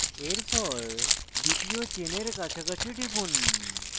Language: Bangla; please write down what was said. এরপর দ্বিতীয় চেনের কাছাকাছি টিপুন